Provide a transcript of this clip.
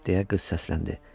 deyə qız səsləndi.